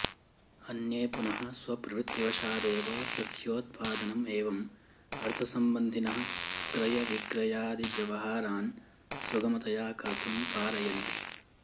अन्ये पुनः स्वप्रवृत्तिवशादेव सस्योत्पादनम् एवम् अर्थसम्बन्धिनः क्रयविक्रयादिव्यवहारान् सुगमतया कर्तुं पारयन्ति